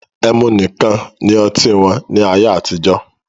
Ẹmu nìkan ni oti wọn ní ayé àtijọ́